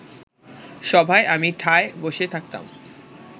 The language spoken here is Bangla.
সভায় আমি ঠায় বসে থাকতাম